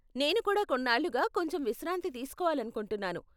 నేను కూడా కొన్నాళ్ళుగా కొంచెం విశ్రాంతి తీస్కోవాలనుకుంటున్నాను.